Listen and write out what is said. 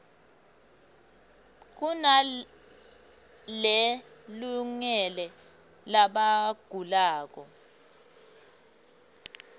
kunale lungele labagulako